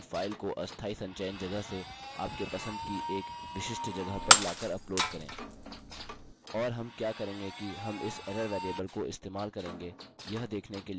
ठीक है अभी के लिए इतना ही इस ट्यूटोरियल के दूसरे भाग में मैं आपको दिखाऊँगा कि कैसे अपनी फाइल को अस्थायी संचयन जगह से आपके पसंद की एक विशिष्ट जगह पर लाकर उपलोड करें